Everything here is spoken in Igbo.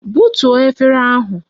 Butuo efere ahụ!